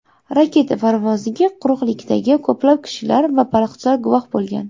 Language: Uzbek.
Raketa parvoziga quruqlikdagi ko‘plab kishilar va baliqchilar guvoh bo‘lgan.